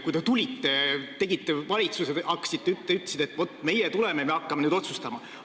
Kui teie tegite valitsuse, siis te ütlesite, et vaat meie tuleme ja hakkame nüüd otsustama.